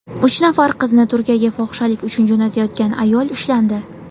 Uch nafar qizni Turkiyaga fohishalik uchun jo‘natayotgan ayol ushlandi.